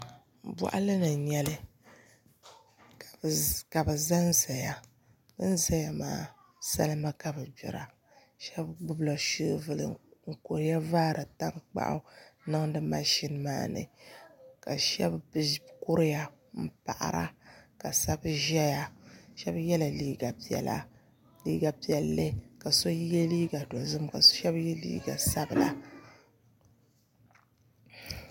Boɣali ni n nyɛli ka bi ʒɛnʒɛya bin ʒɛya maa salima ka bi gbira shab gbubila shoovul n kuriya vaari tankpaɣu niŋdi mashin maa ni ka shab kuriya n paɣara ka shab ʒɛya shab yɛla liiga piɛlli ka shab yɛ liiga dozim ka shab yɛ liiga sabila